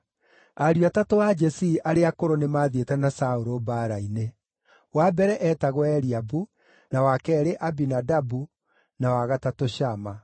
Ariũ atatũ a Jesii arĩa akũrũ nĩmathiĩte na Saũlũ mbaara-inĩ: Wa mbere eetagwo Eliabu; na wa keerĩ Abinadabu; na wa gatatũ Shama.